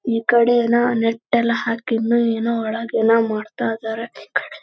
ಯೆರಡು ಹುಡುಗರು ನಿಂತಿದ್ದಾರೆ ಮತ್ತು ದೋಡದ್ದು ಒಂದು ಮೈದಾನ್ ಕಾಣಿಸಲು ಬರುತಿದೆ ಬಿಲ್ಡಿಂಗ್ ಹಿಂದ್ಗಡೆ ಒಂದು ಮರವಿದೇ.